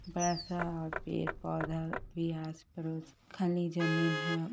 वैसा और भी एक पौधा भी है आस-पड़ोस खाली जमीन है।